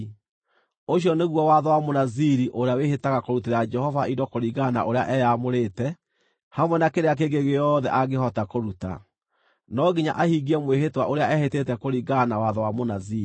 “ ‘Ũcio nĩguo watho wa Mũnaziri ũrĩa wĩhĩtaga kũrutĩra Jehova indo kũringana na ũrĩa eyaamũrĩte, hamwe na kĩrĩa kĩngĩ gĩothe angĩhota kũruta. No nginya ahingie mwĩhĩtwa ũrĩa ehĩtĩte, kũringana na watho wa Mũnaziri.’ ”